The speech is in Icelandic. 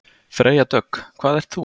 Freyja Dögg: Hvað ert þú?